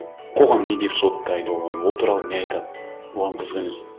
қоғам не деп соттайды оған ол туралы не айтады оған қызық емес